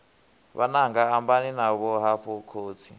vhananga ambani navho hafhu khotsi